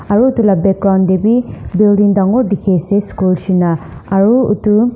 aru itu la background deh wii building dangor dikhi ase school shina aru itu.